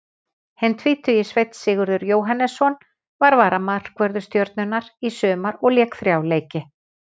Hinn tvítugi Sveinn Sigurður Jóhannesson var varamarkvörður Stjörnunnar í sumar og lék þrjá leiki.